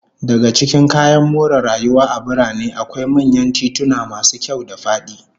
Daga cikin kayan more rayuwa a birane, akwai manyan tituna masu kyau da fadi